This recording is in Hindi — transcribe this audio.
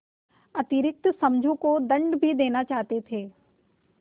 अतिरिक्त समझू को दंड भी देना चाहते थे